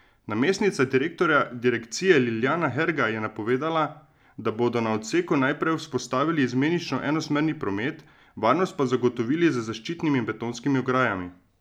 Namestnica direktorja direkcije Ljiljana Herga je napovedala, da bodo na odseku najprej vzpostavili izmenično enosmerni promet, varnost pa zagotovili z zaščitnimi in betonskimi ograjami.